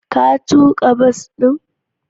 Ka tuka bas din